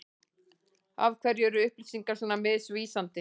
Af hverju er upplýsingar svona misvísandi?